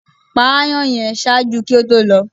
pa aàyàn yẹn! ṣaaju ki o to lọ